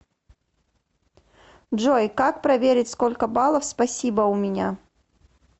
джой как проверить сколько баллов спасибо у меня